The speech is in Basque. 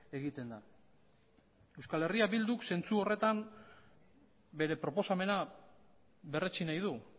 egiten da euskal herria bilduk zentzu horretan bere proposamena berretsi nahi du